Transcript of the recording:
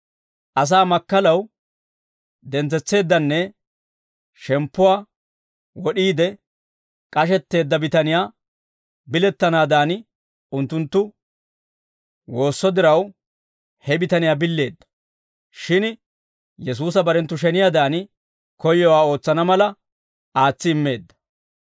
Asaa makkalaw dentsetsiiddenne shemppuwaa wod'iide, k'ashetteedda bitaniyaa bilettanaadan unttunttu woosso diraw, he bitaniyaa billeedda. Shin Yesuusa barenttu sheniyaadan koyyowaa ootsana mala, aatsi immeedda.